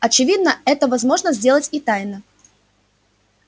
очевидно это возможно сделать и тайно